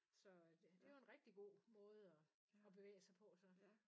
Så det er jo en rigtig god måde og at bevæge sig på så